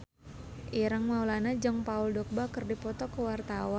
Ireng Maulana jeung Paul Dogba keur dipoto ku wartawan